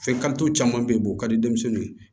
Fɛn karituw caman be yen u ka di denmisɛnninw ye